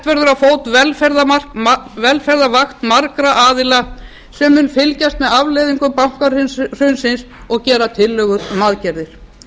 verður á fót velferðarvakt margra aðila sem mun fylgjast með afleiðingum bankahrunsins og gera tillögur um aðgerðir